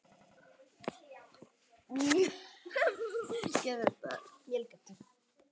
Melgötu